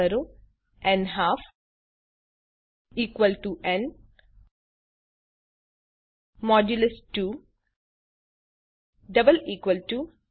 type કરો ન્હાલ્ફ n 2 0